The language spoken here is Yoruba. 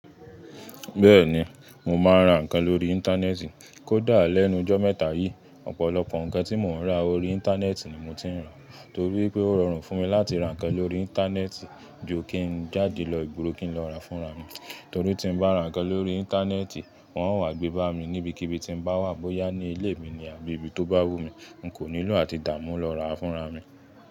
Bẹ́ẹ̀ni, mo máa ń ra ǹkan lórí Íńtánẹ́ẹ̀tì. Kódà lẹ́nu jọ́ mẹ́ta yìí, ọ̀pọ̀lọpọ̀ ǹkan tí mò ń ra ori Íńtánẹ́ẹ̀tì ni mo ti ń rà. Torí pé ó rọrùn fún mi láti ra ǹkan lórí Íńtánẹ́ẹ̀tì ju kí n jáde lọ ìgboro kí n lọ ra fúnra mi. Torí tí ń bá ra ǹkan lórí Íńtánẹ́ẹ̀tì, wọ́n ó wá gbé bá mi níbikíbi tí ń bá wà, bóyá ní ilé mi ni àbí ibi tó bá wù mí. N kò nílò àti dààmú lọ ra fúnra mi.